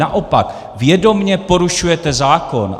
Naopak, vědomě porušujete zákon.